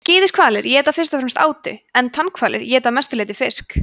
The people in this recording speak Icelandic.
skíðishvalir éta fyrst og fremst átu en tannhvalir éta að mestu leyti fisk